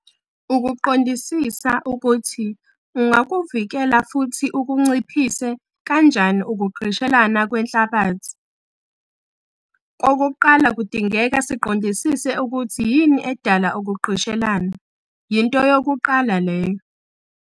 Ukuqondisisa ukuthi ungakuvikala futhi ukunciphise kanjani ukugqishelana kwenhlabathi kokuqala kudingeka siqondisise ukuthi yini edala ukugqishelana yinto yokuqala leyo.